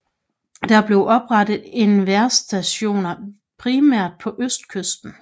Der blev oprettet vejrstationer primært på østkysten